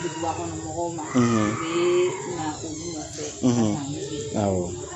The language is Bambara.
Duguba kɔnɔ mɔgɔw man; ; U ye nan olu nɔn fɛ; ; nan nko f'u ye; Awɔ